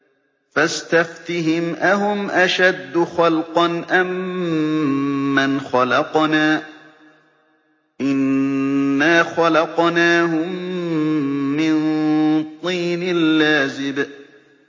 فَاسْتَفْتِهِمْ أَهُمْ أَشَدُّ خَلْقًا أَم مَّنْ خَلَقْنَا ۚ إِنَّا خَلَقْنَاهُم مِّن طِينٍ لَّازِبٍ